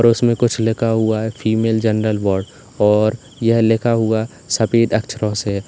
और उसमें कुछ लिखा हुआ है फीमेल जनरल बोर्ड और यह लिखा हुआ सफेद अक्षरों से।